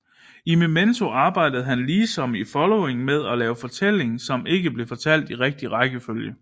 I Memento arbejde han ligesom i Following med at lave en fortælling som ikke bliver fortalt i rigtig rækkefølge